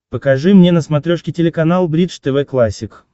покажи мне на смотрешке телеканал бридж тв классик